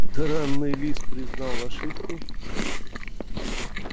драный лис признал ошибку